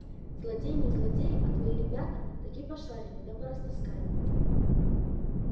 злодеи не злодеи а твои ребята-таки пошарили да порастаскали